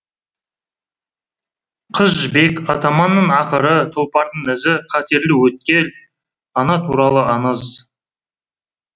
қыз жібек атаманның ақыры тұлпардың ізі қатерлі өткел ана туралы аңыз